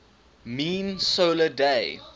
mean solar day